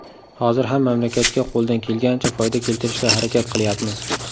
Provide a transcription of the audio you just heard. Hozir ham mamlakatga qo‘ldan kelganicha foyda keltirishga harakat qilyapmiz.